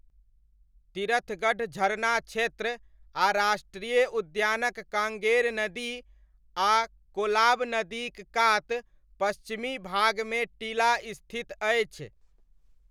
तिरथगढ़ झरना क्षेत्र आ राष्ट्रीय उद्यानक काँगेर नदी आ कोलाब नदीक कात पश्चिमी भागमे टीला स्थित अछि।